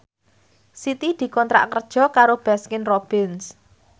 Siti dikontrak kerja karo Baskin Robbins